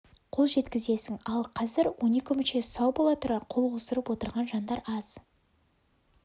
қол жеткізесің ал қазір он екі мүшесі сау бола тұра қол қусырып отырған жандар аз